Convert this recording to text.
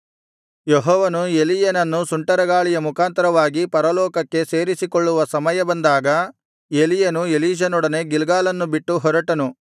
ಯೆಹೋವನು ಎಲೀಯನನ್ನು ಸುಂಟರಗಾಳಿಯ ಮುಖಾಂತರವಾಗಿ ಪರಲೋಕಕ್ಕೆ ಸೇರಿಸಿಕೊಳ್ಳುವ ಸಮಯ ಬಂದಾಗ ಎಲೀಯನು ಎಲೀಷನೊಡನೆ ಗಿಲ್ಗಾಲನ್ನು ಬಿಟ್ಟು ಹೊರಟನು